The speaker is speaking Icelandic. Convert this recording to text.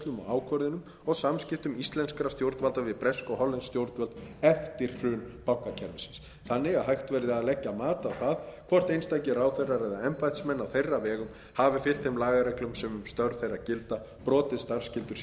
ákvörðunum og samskiptum íslenskra stjórnvalda við bresk og hollensk stjórnvöld eftir hrun bankakerfisins þannig að hægt verði að leggja mat á það hvort einstakir ráðherrar eða embættismenn á þeirra vegum hafi fylgt þeim lagareglum sem um störf þeirra gilda brotið starfsskyldur